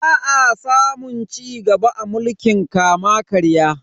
Ba a samun cigaba a mulkin kama-karya.